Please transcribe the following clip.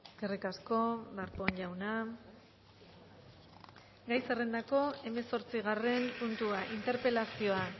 eskerrik asko darpón jauna gai zerrendako hemezortzigarren puntua interpelazioa